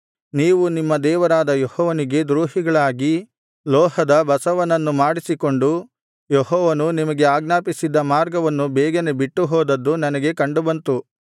ನೀವು ನಿಮ್ಮ ದೇವರಾದ ಯೆಹೋವನಿಗೆ ದ್ರೋಹಿಗಳಾಗಿ ಲೋಹದ ಬಸವನನ್ನು ಮಾಡಿಸಿಕೊಂಡು ಯೆಹೋವನು ನಿಮಗೆ ಆಜ್ಞಾಪಿಸಿದ್ದ ಮಾರ್ಗವನ್ನು ಬೇಗನೆ ಬಿಟ್ಟು ಹೋದದ್ದು ನನಗೆ ಕಂಡುಬಂತು